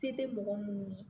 Se tɛ mɔgɔ munnu ye